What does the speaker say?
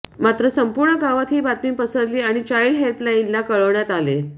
मात्र संपूर्ण गावात ही बातमी पसरली आणि चाइल्ड हेल्पलाइनला कळवण्यात आले